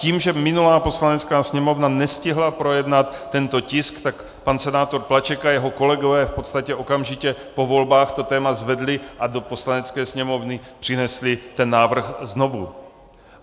Tím, že minulá Poslanecká sněmovna nestihla projednat tento tisk, tak pan senátor Plaček a jeho kolegové v podstatě okamžitě po volbách to téma zvedli a do Poslanecké sněmovny přinesli ten návrh znovu.